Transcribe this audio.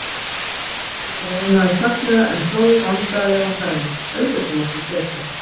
Ég fann hvernig ég roðnaði snögglega, en hló vandræðalega og sagði: Auðvitað máttu setjast.